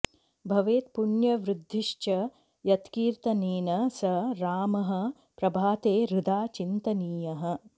भवेत् पुण्यवृद्धिश्च यत्कीर्तनेन स रामः प्रभाते हृदा चिन्तनीयः